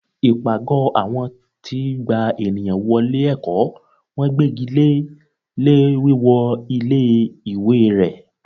ipágọ awọn ti gbá ènìyàn wọlé ẹkọ, wọn gbégíle lé wíwọ ilé ìwé ré